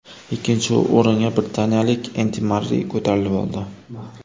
Ikkinchi o‘ringa britaniyalik Endi Marrey ko‘tarilib oldi.